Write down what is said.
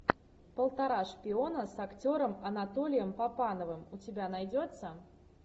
полтора шпиона с актером анатолием папановым у тебя найдется